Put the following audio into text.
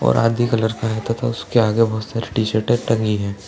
और आदि कलर का हैं तथा उसके आगे बोहोत सारी टी-शर्टे टंगी हैं।